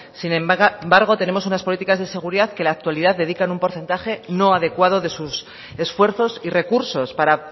sin embargo tenemos unas políticas de seguridad que la actualidad dedican un porcentaje no adecuado de sus esfuerzos y recursos para